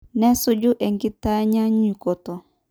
Nesuju enkitanyanyukuto.